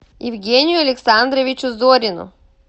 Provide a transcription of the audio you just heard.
евгению александровичу зорину